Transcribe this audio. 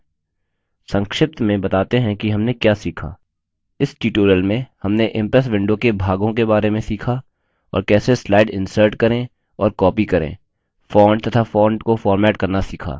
संक्षिप्त में बताते हैं कि हमने क्या सीखा इस tutorial में हमने इम्प्रेस विंडो के भागों के बारे में सीखा और कैसे स्लाइड इन्सर्ट करें और कॉपी करें फॉन्ट to फॉन्ट को फॉर्मेट करना सीखा